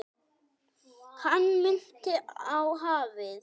Hann minnti á hafið.